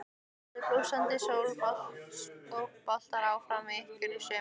Verður blússandi sóknarbolti áfram hjá ykkur í sumar?